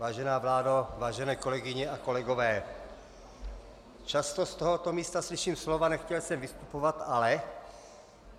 Vážená vládo, vážené kolegyně a kolegové, často z tohoto místa slyším slova "nechtěl jsem vystupovat, ale".